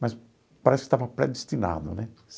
Mas parece que estava predestinado, né?